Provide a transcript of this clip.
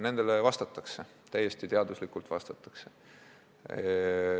Nendele vastatakse, täiesti teaduslikult vastatakse.